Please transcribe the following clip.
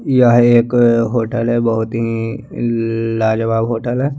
यह एक होटल है बहुत ही ल लाजवाब होटल है।